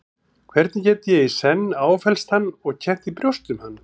Hvernig get ég í senn áfellst hann og kennt í brjósti um hann?